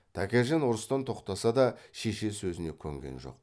тәкежан ұрыстан тоқтаса да шеше сөзіне көнген жоқ